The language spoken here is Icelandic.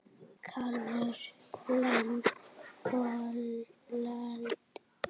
Kálfur, lamb, folald.